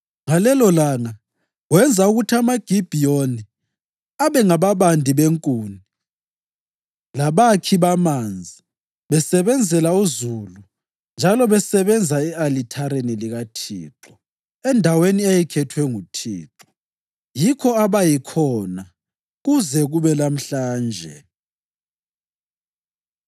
Ngalelolanga wenza ukuthi amaGibhiyoni abe ngababandi benkuni labakhi bamanzi besebenzela uzulu njalo besebenza e-alithareni likaThixo endaweni eyayikhethwe nguThixo. Yikho abayikhona kuze kube lamhlanje.